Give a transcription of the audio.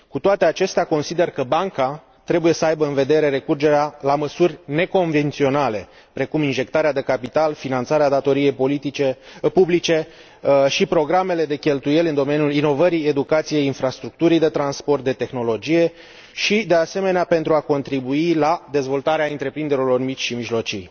Cu toate acestea, consider că Banca trebuie să aibă în vedere recurgerea la măsuri neconvenționale, precum injectarea de capital, finanțarea datoriei publice și programele de cheltuieli în domeniul inovării, educației, infrastructurii de transport, de tehnologie și, de asemenea, pentru a contribui la dezvoltarea întreprinderilor mici și mijlocii.